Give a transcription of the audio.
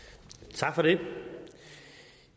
tak for det